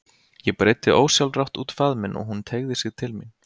Ég breiddi ósjálfrátt út faðminn og hún teygði sig til mín.